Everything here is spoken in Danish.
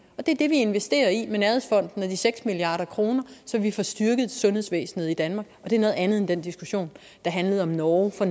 og det er det vi investerer i med nærhedsfonden og de seks milliard kr så vi får styrket sundhedsvæsenet i danmark det er noget andet end den diskussion der handlede om norge fra